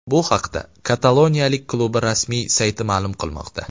Bu haqida kataloniyalik klubi rasmiy sayti ma’lum qilmoqda .